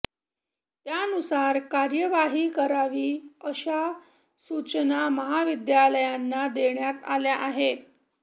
त्यानुसार कार्यवाही करावी अशा सूचना महाविद्यालयांना देण्यात आल्या आहेत